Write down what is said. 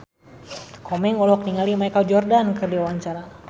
Komeng olohok ningali Michael Jordan keur diwawancara